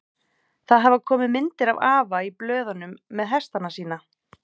Það hafa komið myndir af afa í blöðunum með hestana sína.